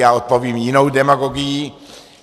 Já odpovím jinou demagogií.